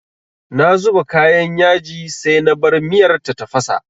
Na zuba kayan yaji sai na bar miyar ta tafasa.